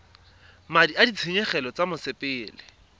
madi a ditshenyegelo tsa mosepele